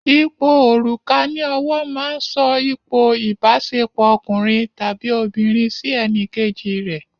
Ipò òrùka ní ọwọ́ máa ń sọ ipò ìbáṣepọ̀ ọkùnrin tàbí obìnrin sí ẹnìkejì rè.